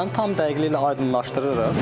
Məsələni tam dəqiqliyi ilə aydınlaşdırırıq.